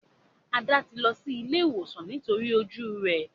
Ada ti ló sí ìlé ìwòsan nítorí ojú rẹ.